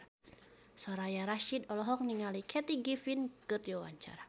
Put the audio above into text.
Soraya Rasyid olohok ningali Kathy Griffin keur diwawancara